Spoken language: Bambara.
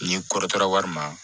Ni kɔrɔtara wari ma